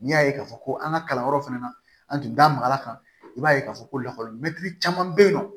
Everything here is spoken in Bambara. N'i y'a ye k'a fɔ an ka kalanyɔrɔ fɛnɛ na an tun da magala kan i b'a ye k'a fɔ ko lakɔli mɛtiri caman bɛ yen nɔ